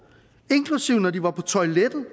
inklusive når de var på toilettet